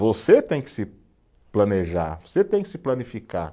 Você tem que se planejar, você tem que se planificar.